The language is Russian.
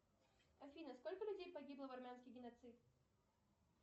афина сколько людей погибло в армянский геноцид